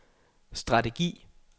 strategi